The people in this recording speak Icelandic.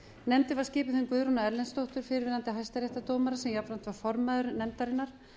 nefndin var skipuð þeim guðrúnu erlendsdóttur fyrrverandi hæstaréttardómara sem jafnframt var formaður nefndarinnar